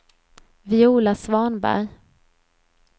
Viola Svanberg